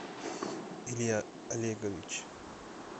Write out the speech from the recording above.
илья олегович